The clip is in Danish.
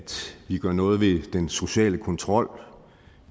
vi gør noget ved den sociale kontrol